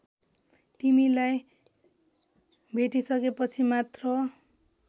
तिमीलाई भेटिसकेपछि मात्र